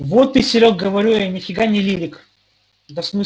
вот ты серёг говорю я ни фига не лирик да всмысле